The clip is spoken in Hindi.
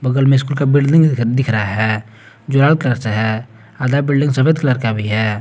बगल में स्कूल का बिल्डिंग दिख रहा है जो लाल कलर से है आधा बिल्डिंग सफेद कलर का भी है।